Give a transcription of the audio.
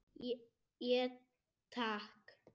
Ég: Takk.